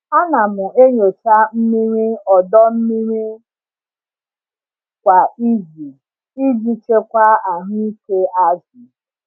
Ana m enyocha mmiri ọdọ mmiri kwa izu iji chekwaa ahụ ike azụ.